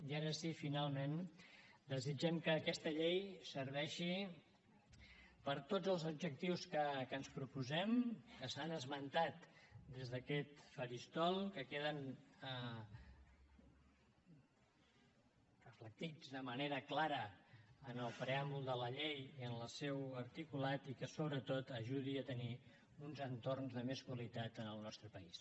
i ara sí finalment desitgem que aquesta llei serveixi per a tots els objectius que ens proposem que s’han esmentat des d’aquest faristol que queden reflectits de manera clara en el preàmbul de la llei i en el seu articulat i que sobretot ajudi a tenir uns entorns de més qualitat en el nostre país